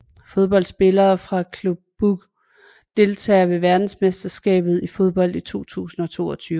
Fodboldspillere fra Club Brugge Deltagere ved verdensmesterskabet i fodbold 2022